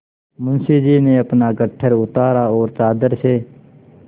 मुंशी जी ने अपना गट्ठर उतारा और चादर से